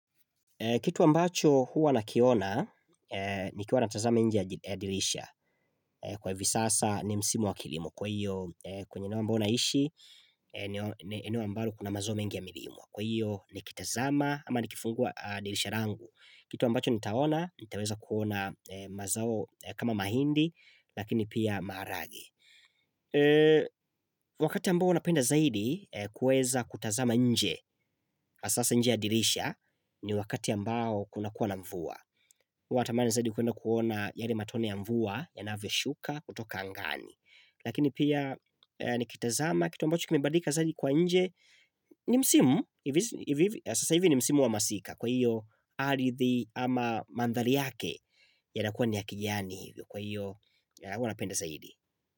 Kitu ambacho huwa nakiona nikiwa natazama nje ya dirisha. Kwa hivi sasa ni msimu wa kilimo. Kwa hiyo kwenye eneo ambao naishi ni eneo ambalo kuna mazao mengi ya milimo. Kwa hiyo nikitazama ama nikifungua dirisha langu. Kitu ambacho nitaona nitaweza kuona mazao kama mahindi lakini pia maharage. Wakati ambao huwa napenda zaidi kueza kutazama nje sasa nje ya dirisha ni wakati ambao kunakuwa na mvua Watamani zaidi kuenda kuona yale matone ya mvua yanavyoshuka kutoka angani Lakini pia nikitazama kitu ambacho kimebadilika zaidi kwa nje ni msimu, sasa hivi ni msimu wa masika Kwa hiyo ardhi ama mandhari yake yanakua ni ya kijani hivi Kwa hiyo huwa napenda zaidi.